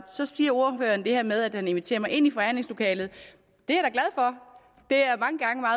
så siger ordføreren det her med at han inviterer mig ind i forhandlingslokalet det